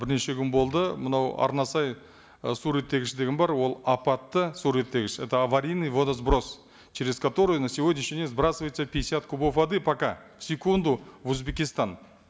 бірнеше күн болды мынау арнасай ы су реттегіш деген бар ол апатты су реттегіш это аварийный водосброс через который на сегодняшний день сбрасывается пятьдесят кубов воды пока в секунду в узбекистан